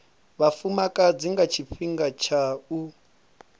vhafumakadzi nga tshifhinga tsha u